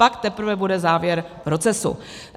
Pak teprve bude závěr procesu."